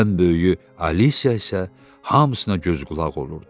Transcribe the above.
Ən böyüyü Alisiya isə hamısına göz qulaq olurdu.